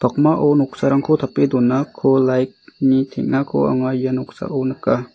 noksarangko tape donako light-ni teng·ako anga ia noksao nika.